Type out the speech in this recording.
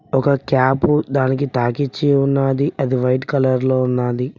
ఒక క్యాప్ దానికి తాకిచ్చి ఉన్నది అది వైట్ కలర్ లో ఉన్నది.